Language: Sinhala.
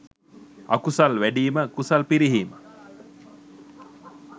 අකුසල් වැඞීම කුසල් පිරිහීම.